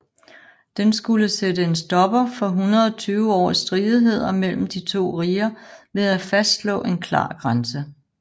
Den skulle sætte en stopper for 120 års stridigheder mellem de to riger ved at fastslå en klar grænse